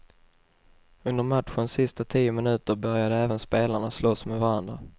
Under matchens sista tio minuter började även spelarna slåss med varandra.